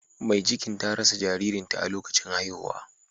Mai cikin ta rasa jaririn ta a lokacin haihuwa.